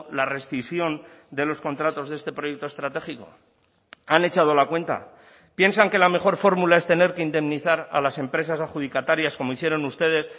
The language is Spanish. la rescisión de los contratos de este proyecto estratégico han echado la cuenta piensan que la mejor fórmula es tener que indemnizar a las empresas adjudicatarias como hicieron ustedes